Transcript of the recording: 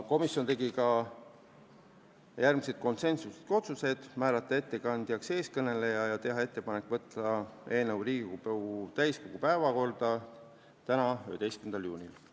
Komisjon tegi järgmised konsensuslikud otsused: määrata ettekandjaks eeskõneleja ja teha ettepanek võtta eelnõu Riigikogu täiskogu päevakorda tänaseks, 11. juuniks.